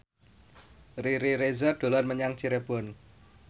Riri Reza dolan menyang Cirebon